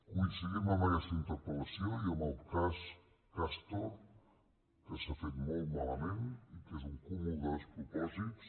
coincidim en aquesta interpellació i en el cas castor que s’ha fet molt malament i que és un cúmul de despropòsits